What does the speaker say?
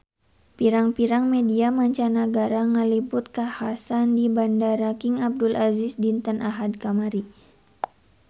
Pirang-pirang media mancanagara ngaliput kakhasan di Bandara King Abdul Aziz dinten Ahad kamari